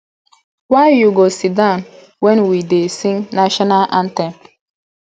why you go sit down wen we dey sing national anthem